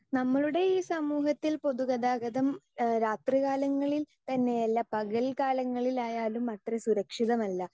speaker 2 നമ്മളുടെ ഈ സമൂഹത്തിൽ പൊതുഗതാഗതം എഹ് രാത്രികാലങ്ങളിൽ തന്നെയല്ല പകൽ കാലങ്ങളിലായാലും അത്ര സുരക്ഷിതമല്ല